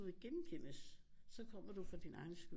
Vil genkendes så kommer du for din egen skyld